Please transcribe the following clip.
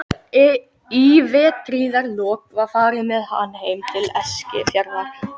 Í vertíðarlok var farið með hann heim til Eskifjarðar.